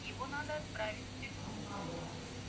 его надо отправить в тюрьму